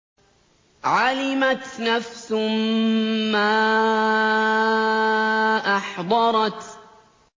عَلِمَتْ نَفْسٌ مَّا أَحْضَرَتْ